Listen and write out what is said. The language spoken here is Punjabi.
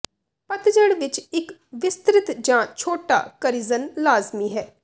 ਪਤਝੜ ਵਿੱਚ ਇੱਕ ਵਿਸਤ੍ਰਿਤ ਜਾਂ ਛੋਟਾ ਕਰਿਜ਼ਨ ਲਾਜ਼ਮੀ ਹੈ